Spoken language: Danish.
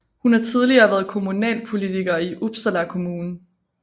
Hun har tidligere været kommunalpolitiker i Uppsala kommun